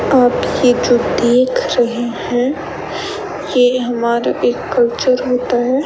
आप ये जो देख रहे हैं ये हमारा एक कल्चर होता है।